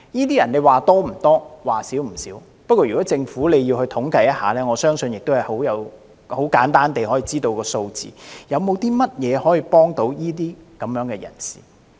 這群人的數目說多不多，說少不少，不過如果政府要進行統計，我相信很簡單地便會知道有關數字。